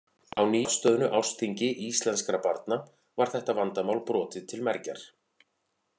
Á nýafstöðnu ársþingi íslenskra barna var þetta vandamál brotið til mergjar.